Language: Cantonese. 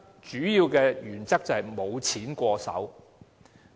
主要的原則是"無錢過手"。